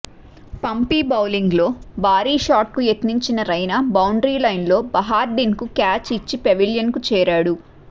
పంపీ బౌలింగ్లో భారీ షార్ట్కు యత్నించిన రైనా బౌండరీ లైన్లో బహార్డీన్కు క్యాచ్ ఇచ్చి పెవిలియన్కు చేరాడు